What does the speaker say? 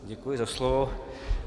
Děkuji za slovo.